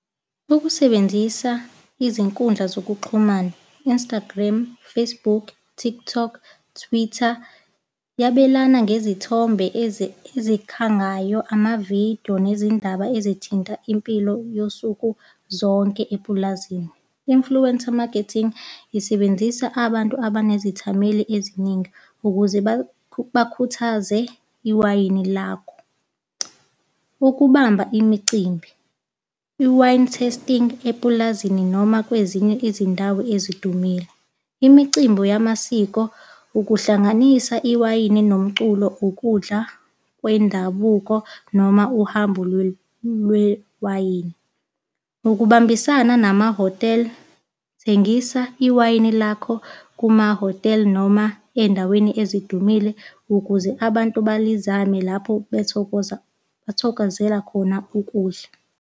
Ukusebenzisa izinkundla zokuxhumana, Instagram, Facebook, Tiktok, Twitter, yabelana ngezithombe ezikhangayo, amavidiyo nezindaba ezithinta impilo yosuku zonke epulazini. Influencer marketing isebenzisa abantu abanezithameli eziningi ukuze bakhuthaze iwayini lakho. Ukubamba imicimbi. I-wine tasting epulazini noma kwezinye izindawo ezidumile. Imicimbi yamasiko, ukuhlanganisa iwayini nomculo, ukudla kwendabuko, noma uhambo lwewayini. Ukubambisana namahhotela. Thengisa iwayini lakho kumahhotela noma ey'ndaweni ezidumile, ukuze abantu belizame lapho, bethokoza, bathokozela khona ukudla.